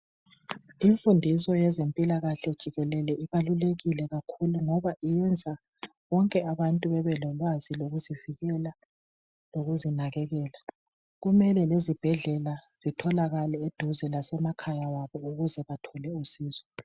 Imfundiso yezempilakahle jikelele ibalulekile kakhulu ngoba iyenza bonke abantu bebelolwazi lokuzivikela lokuzinakekela, kumele lezibhedlela zitholakale eduze lasemkhaya wabo ukuze bathole usizo